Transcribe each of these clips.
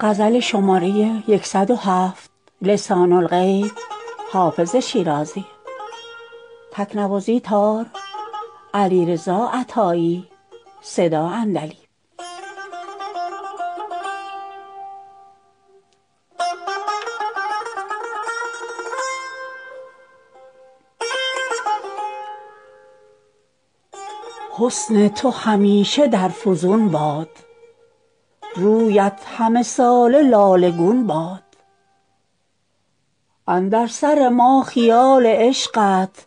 حسن تو همیشه در فزون باد رویت همه ساله لاله گون باد اندر سر ما خیال عشقت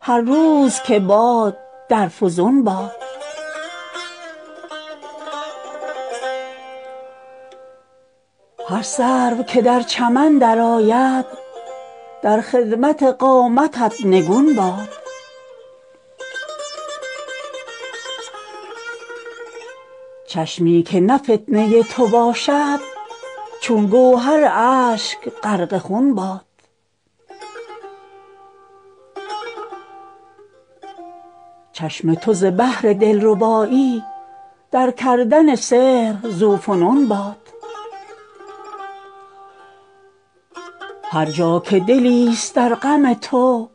هر روز که باد در فزون باد هر سرو که در چمن درآید در خدمت قامتت نگون باد چشمی که نه فتنه تو باشد چون گوهر اشک غرق خون باد چشم تو ز بهر دلربایی در کردن سحر ذوفنون باد هر جا که دلیست در غم تو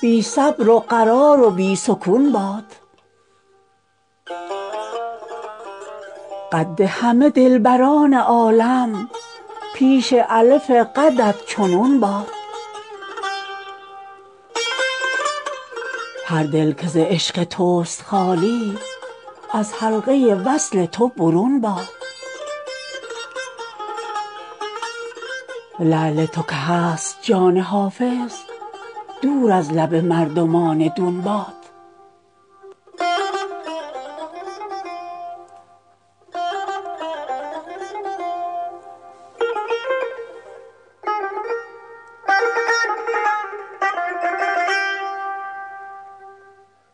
بی صبر و قرار و بی سکون باد قد همه دلبران عالم پیش الف قدت چو نون باد هر دل که ز عشق توست خالی از حلقه وصل تو برون باد لعل تو که هست جان حافظ دور از لب مردمان دون باد